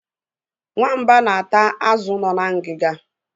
Nwamba na-ata azụ nọ na ngiga.